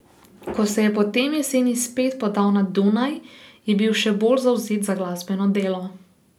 Ko se je potem jeseni spet podal na Dunaj, je bil še bolj zavzet za glasbeno delo.